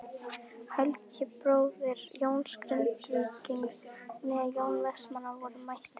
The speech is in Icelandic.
Helgi bróðir Jóns Grindvíkings né Jón Vestmann voru mættir.